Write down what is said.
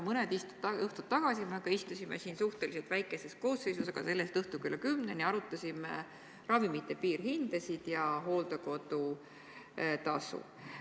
Mõni õhtu tagasi me aga istusime siin suhteliselt väikeses koosseisus, aga selle-eest õhtul kella kümneni, arutasime ravimite piirhindasid ja hooldekodutasusid.